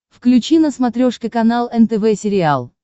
включи на смотрешке канал нтв сериал